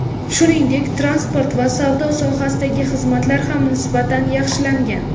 Shuningdek, transport va savdo sohasidagi xizmatlar ham nisbatan yaxshilangan.